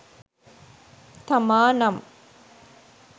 තමා නම්